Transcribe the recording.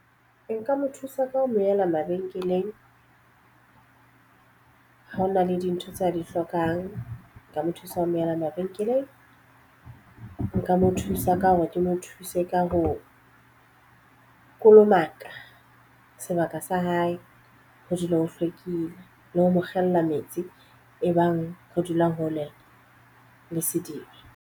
Nka mo thusa ka ho mo ela mabenkeleng ha hona le dintho tse a di hlokang. Ka mo thusa ho mo ela mabenkeleng. Nka mo thusa ka hore ke mo thuse se ka ho kolomaka sebaka sa hae, ho dule ho hlwekile le ho mo kgella metsi e bang re dulang hole le sediba.